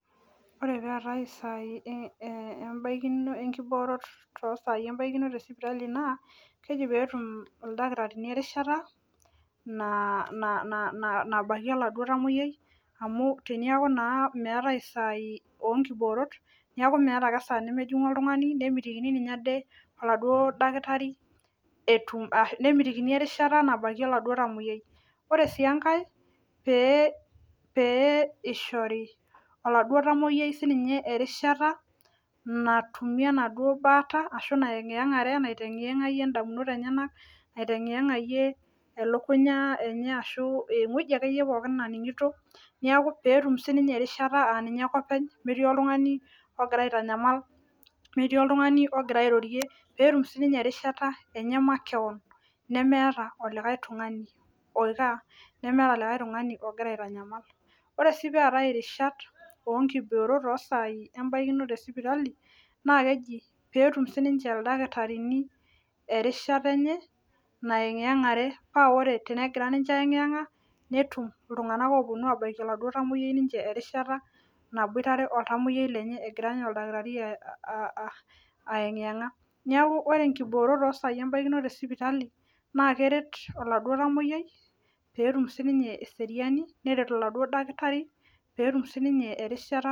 Ore taata isaaai enkiboroto te sipitali naa keji peetum ildakitarini erishata nabakie oladuo tamoyiai amu teneeku naa meetai isaai oonkiboorot neeku meeta esaa nemejing'u oladuo tung'ani neeku meetai esaa nemejingu oltung'ani nemitikini oladuo nemitikini erishata nabakie oladuo tamoyiai ore sii enkae pee. Eishori oladuo dakitari erishata natumie ena duo baata natumie indamunot enyanak aiteyang'iyang'ie elukunya enye ashua ewueji akeyie naning'ito peetum sii sinye erishata aaninye ake openy metii oltung'ani ogira aitanyamal metii oltung'ani ogira airorie peetum sii ninye erishata makewon meeta likae tung'ani ogira aitanyamal ore sii peetai inkiboorot oosai tesipitali naa keji peetum siininche ildakitarini erishata enye nayang'iyang'are paa ore tenegira ninche ayang'iyang'a netum iltung'anak oopuonu abaiki oladuo tamoyiai erishata naboitare oltamoyiai lenye egira ninye oldakitari aying'iyang'a neeku ore inkiboorot oosai esipitali naa keret oladuo tamoyiai peetum sii ninye eseriani neret oladuo dakitari peetum sii ninye erishata.